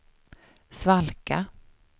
svalka